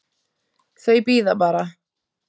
Þau bíða bara.